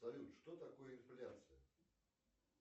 салют что такое инфляция